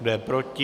Kdo je proti?